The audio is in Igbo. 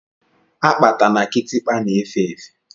Akpatà na Kịtịkpa na-efe efe.